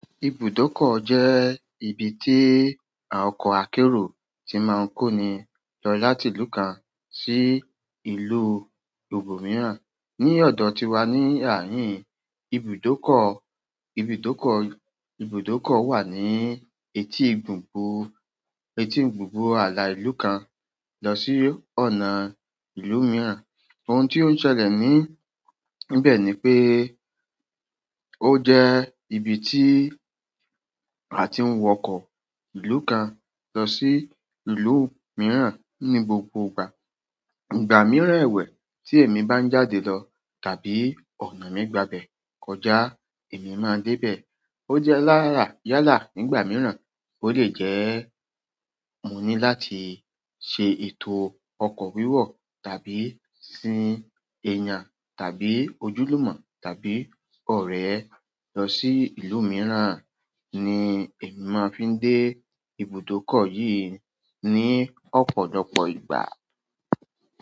Ibùdókọ̀ jẹ́ ibi tí àwọn ọkọ̀ akérò tí máa ń kóni lọ láti ìlú kan sí ìlú òmíràn. Ni ọ̀dọ̀ tiwa ní àárín, ibùdókọ̀, ibùdókọ̀, ibùdókọ̀ wà ní etí gbùngbùn, etí gbùngbùn ààlà ìlú kan lọ sí ọ̀nà ìlú mìíràn. Ohun tí ó ń ṣẹlẹ̀ ní, níbẹ̀ ni pé ó jẹ́ ibi tí a ti ń wọkọ̀ ìlú kan lọ sí ìlú mìíràn ní gbogbo ìgbà. Ìgbà mìíràn ẹwẹ̀ tí èmi bá ń jáde lọ tàbí ọ̀nà mi gba bẹ̀ kọjá, èmi máa dé bẹ̀. Ó jẹ́ lára yálà nígbà mìíràn, ó lè jẹ́ mo ní láti ṣe ètò ọkọ̀ wíwọ̀ tàbí sin ẹ̀yàn tàbí ojúlùmọ̀ tàbí ọ̀rẹ́ lọ sí ìlú mìíràn ni èmi máa fi ń dé ibùdókọ̀ yìí ni ọ̀pọ̀lọpọ̀ ìgbà.